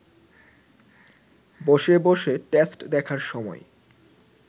বসে বসে টেস্ট দেখার সময়